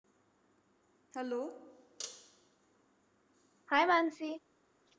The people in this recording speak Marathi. Hello hi Mansi